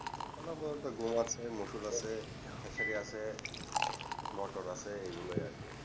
গম আছে মসুর আছে খেসারি আছে মোটর আছে এই গুলো আরকি